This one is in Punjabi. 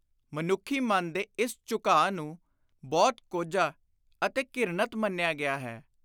ਮਨੁੱਖੀ ਮਨ ਦੇ ਇਸ ਝੁਕਾ ਨੂੰ ਬਹੁਤ ਕੋਝਾ ਅਤੇ ਘਿਰਣਤ ਮੰਨਿਆ ਗਿਆ ਹੈ।